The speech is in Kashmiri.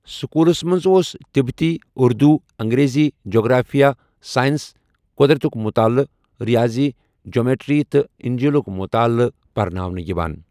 سکولس منز اوس تبتی، اردو، انگریزی، جغرافیہ، سائنس، قو٘درتُك مطالعہ، ریٲضی، جیومیٹری تہٕ انجیلُك مُتالعہ پرناونہٕ یوان ۔